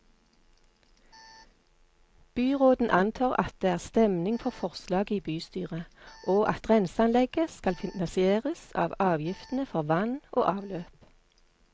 Byråden antar at det er stemning for forslaget i bystyret, og at renseanlegget skal finansieres av avgiftene for vann og avløp.